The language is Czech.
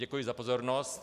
Děkuji za pozornost.